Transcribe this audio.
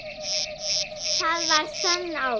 Það var sönn ást.